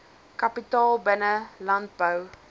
kapitaal binne landbou